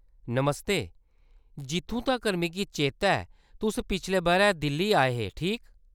नमस्ते, जित्थूं तक्कर ​​मिगी चेता ऐ तुस पिछले बʼरै दिल्ली आए हे, ठीक ?